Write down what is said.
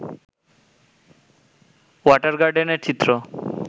water গার্ডেনের চিত্র